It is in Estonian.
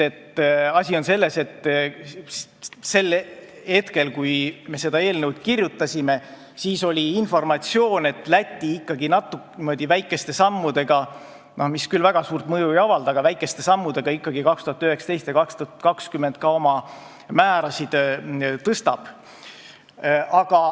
Asi on selles, et sel hetkel, kui me seda eelnõu kirjutasime, oli informatsioon, et Läti niimoodi väikeste sammudega, mis küll väga suurt mõju ei avalda, aga väikeste sammudega ikkagi 2019. ja 2020. aastal oma määrasid tõstab.